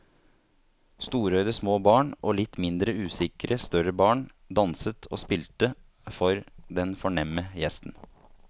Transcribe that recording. Storøyde små barn og litt mindre usikre større barn danset og spilte for den fornemme gjesten.